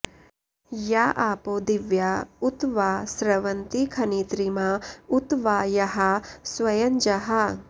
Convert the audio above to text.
या आपो दिव्या उत वा स्रवन्ति खनित्रिमा उत वा याः स्वयंजाः